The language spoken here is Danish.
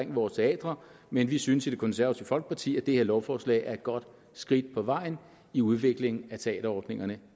vores teatre men vi synes i det konservative folkeparti at det her lovforslag er et godt skridt på vejen i udviklingen af teaterordningerne